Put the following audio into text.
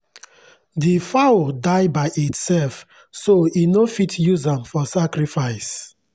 the fowl die by itself so e no fit use am for sacrifice.